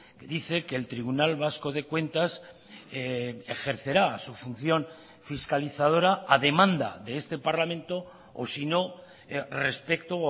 que dice que el tribunal vasco de cuentas ejercerá su función fiscalizadora a demanda de este parlamento o sino respecto